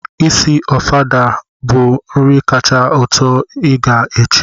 Iri osikapa Ofada bụ nri kacha atọ ụtọ ị ga-eche